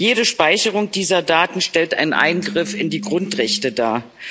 jede Speicherung dieser Daten stellt einen Eingriff in die Grundrechte dar.